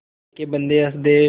अल्लाह के बन्दे हंस दे